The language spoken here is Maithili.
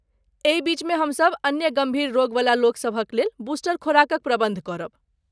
एही बीचमे हमसभ अन्य गम्भीर रोगवला लोकसभक लेल बूस्टर खुराकक प्रबन्ध करब।